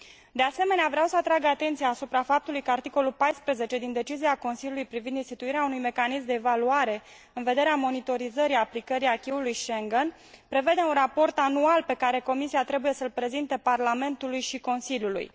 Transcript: De asemenea, vreau să atrag atenția asupra faptului că articolul 14 din propunerea de decizie Consiliului privind instituirea unui mecanism de evaluare în vederea monitorizării aplicării acquis ului Schengen prevede un raport anual pe care Comisia trebuie să l prezinte Parlamentului și Consiliului.